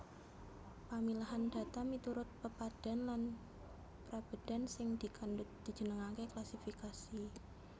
Pamilahan data miturut pepadhan lan prabédan sing dikandhut dijenengaké klasifikasi